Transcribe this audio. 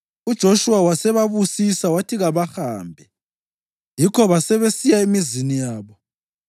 UJoshuwa wasebabusisa wathi kabahambe; yikho basebesiya emizini yabo.